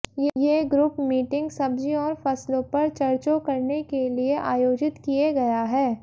ये group meeting सब्जी और फसलों पर चर्चो करने के लिए आयोजित किये गया है